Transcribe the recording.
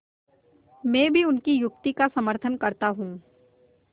मैं भी उनकी युक्ति का समर्थन करता हूँ